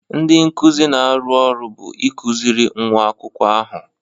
Ndị nkuzi na-arụ ọrụ bụ ịkụziri nwa akwụkwọ ahụ.